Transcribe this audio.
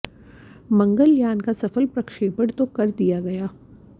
मंगलयान का सफल प्रक्षेपण तो कर दिया गया